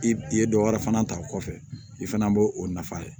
I ye dɔ wɛrɛ fana ta o kɔfɛ i fana b'o o nafa ye